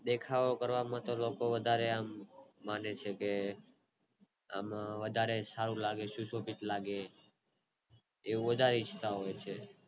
દેખાવો કરવામાં લોકો આમ વધારે મને છે કે આમ વધારે સારું લાગે શુશોભિત લાગે એવું બધા ઇચ્છતા હોય છે